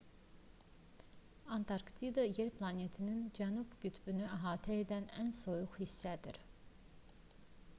antarktida yer planetinin cənub qütbünü əhatə edən ən soyuq hissəsidir